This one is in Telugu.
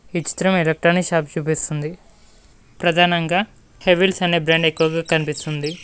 ఈ చిత్రం ఎలేట్రానిక్స్ షాప్ చూపిస్తుంది ప్రధానంగా హెవిల్స్ అనే బ్రాండ్ ఎక్కువగా కనిపిస్తుంది.